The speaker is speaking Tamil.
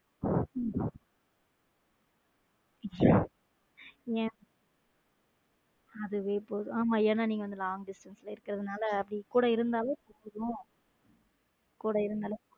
ஏன அதுவே போதும் என்ன நீங்க வந்து long distance ல இருகுரதுநல அவங்க கூட இருந்தாலும்.